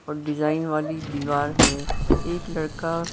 और डिजाइन वाली दीवार है एक लड़का--